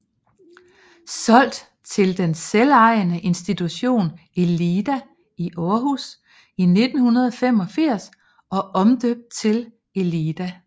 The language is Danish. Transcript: Solgt til den selvejende institution Elida i Aarhus i 1985 og omdøbt til Elida